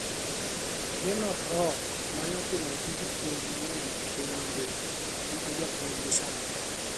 Gernot Rohr mane otimo tij puonj mang'eny e piny mangima, en e japuonjgi sani.